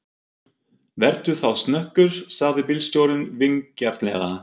Vertu þá snöggur, sagði bílstjórinn vingjarnlega.